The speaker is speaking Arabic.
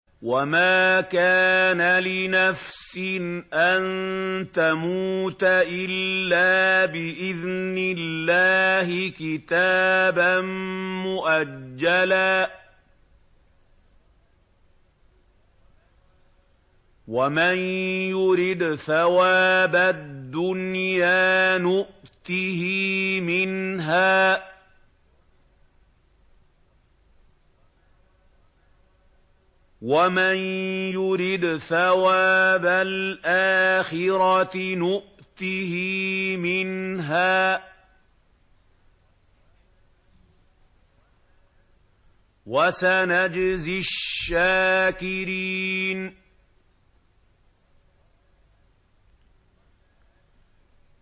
وَمَا كَانَ لِنَفْسٍ أَن تَمُوتَ إِلَّا بِإِذْنِ اللَّهِ كِتَابًا مُّؤَجَّلًا ۗ وَمَن يُرِدْ ثَوَابَ الدُّنْيَا نُؤْتِهِ مِنْهَا وَمَن يُرِدْ ثَوَابَ الْآخِرَةِ نُؤْتِهِ مِنْهَا ۚ وَسَنَجْزِي الشَّاكِرِينَ